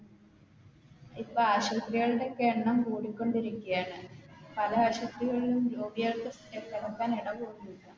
ഇപ്പൊ ആശുത്രികളുടെക്കെ എണ്ണം കൂടിക്കൊണ്ടിരിക്കാണ് പല ആശുത്രികളിലും രോഗികൾക്ക് കെടക്കാൻ എടപോലുവില്ല